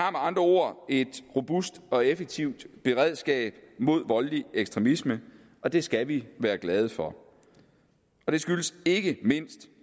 andre ord et robust og effektivt beredskab mod voldelig ekstremisme og det skal vi være glade for det skyldes ikke mindst